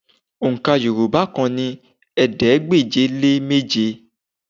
Òǹkà Yorùbá kan ni ẹ̀ẹ́dégbèje-lé-méje